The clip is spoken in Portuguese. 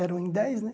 Eram em dez, né?